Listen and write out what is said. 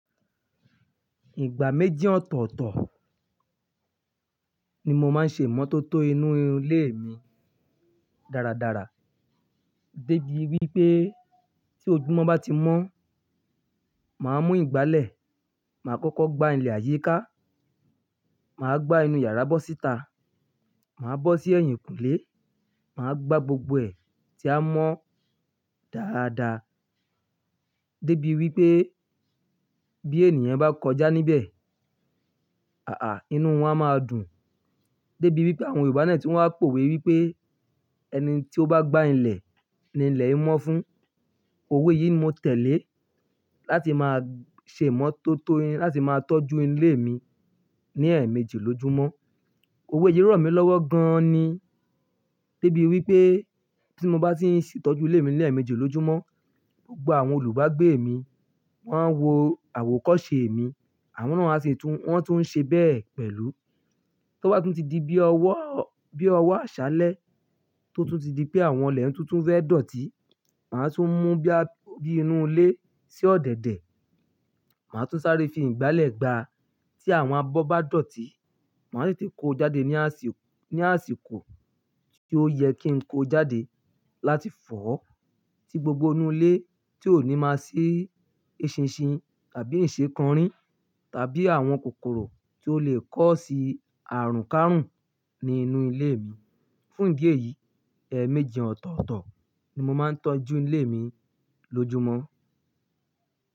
Ìgbà méjì ọ̀tọ̀ọ̀tọ̀ ni mo máa ń ṣe ìmọ́tótó inú ilé mi dáradára. Débi wípé tí ojúmọ́ bá ti mọ́, màá mú ìgbálẹ̀, màá kọ́kọ́ gbá ilẹ̀ àyíká, màá gbá inú yàrá bọ́sítà, màá bọ́ sí ẹ̀yìnkùlé, màá gbá gbogbo ẹ̀ tí a mọ dáadáa. Débi wípé bí ènìyàn bá kọjá níbẹ̀, àà, inú wọn a máa dùn. Débi wípé àwọn Yorùbá náà tí wọ́n á pòwe wípé "ẹni tí ó bá gbá ilẹ̀ ni ilẹ̀ yíò mọ́ fún". Òwe yìí ni mo tẹ̀lé láti máa ṣe ìmọ́tótó, láti máa tọ́jú ilé mi ní ẹ̀ẹ̀méjì lójúmọ́. Òwe yìí rọ̀ mí lọ́wọ́ gan-an ni. Débi wípé tí mo bá ti ń ṣìtọ́jú ilé mi ní ẹ̀ẹ̀méjì lójúmọ́, gbogbo àwọn olùbágbé mi, wọ́n á wo àwòkọ́ṣe mi, àwọn náà a sì tún, wọ́n tún ṣe bẹ́ẹ̀ pẹ̀lú. Tí ó bá ti tún di bí ọwọ́, bí ọwọ́ àṣálẹ́ tó tún di pé àwọn ilẹ̀ tuntun fẹ́ dọ̀tí, màá tún mú bíá, bí inú ilé sí ọ̀dẹ̀dẹ̀. Màá tún sáré fi ìgbálẹ̀ gbá á. Tí àwọn abọ́ bá dọ̀tí, màá sì ti kó jáde ní àsìkò, ní àsìkọ̀ tí ó yẹ kí n kó ó jáde láti fọ́. Tí gbogbo inú ilé tí ò ní máa sí eṣinṣin tàbí ǹṣekọrin tàbí àwọn kòkòrò tí ó le kó sí àrùnkárùn ní inú ilé mi. Fún ìdí èyí ẹ̀ẹ̀méjì ọ̀tọ̀ọ̀tọ̀ ni mo ma ń tọ́jú ilé mi lójúmọ́.